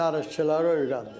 Dənizçiləri öyrəndim.